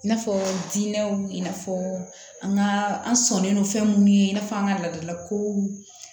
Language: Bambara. I n'a fɔ diinɛ i n'a fɔ an ka an sɔnnen don fɛn minnu ye i n'a fɔ an ka laadalakow